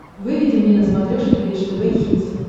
выведи мне на смотрешке бридж тв хитс